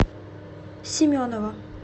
семенова